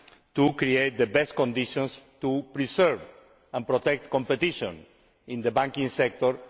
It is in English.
to create the best conditions to preserve and protect competition in the banking sector.